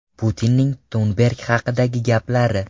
Putinning Tunberg haqidagi gaplari.